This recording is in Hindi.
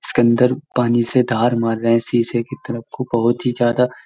इसके अंदर पानी से धार मार रहे है शीशे की तरफ बहुत ही ज्यादा --